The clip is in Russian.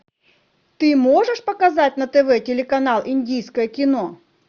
ты можешь показать на тв телеканал индийское кино